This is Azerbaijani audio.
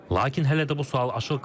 Lakin hələ də bu sual açıq qalır.